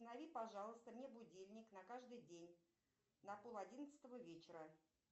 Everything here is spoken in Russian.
установи пожалуйста мне будильник на каждый день на пол одиннадцатого вечера